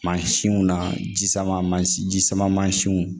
Mansinw na ji sama mansi ji sama mansinw